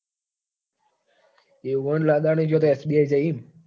એવું એટલે અદાણી જોડે એસ બી આઈ થયી એમ